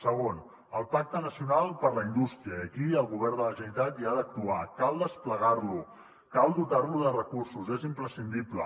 segon el pacte nacional per la indústria i aquí el govern de la generalitat hi ha d’actuar cal desplegar lo cal dotar lo de recursos és imprescindible